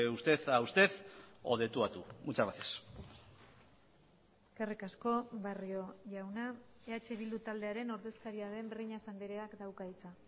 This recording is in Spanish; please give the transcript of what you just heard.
usted a usted o de tú a tú muchas gracias eskerrik asko barrio jauna eh bildu taldearen ordezkaria den breñas andreak dauka hitza